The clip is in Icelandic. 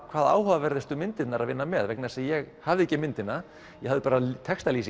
hvað áhugaverðast um myndirnar að vinna með vegna þess að ég hafði ekki myndina ég hafði bara